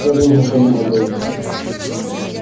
я должен подумать дейв